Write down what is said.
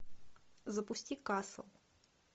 запусти касл